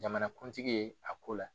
Jamana kuntigi ye a ko la.